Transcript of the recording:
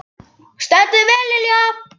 Þú stendur þig vel, Lilja!